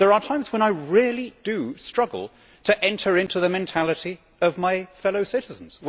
There are times when I really struggle to enter into the mentality of my fellow citizens.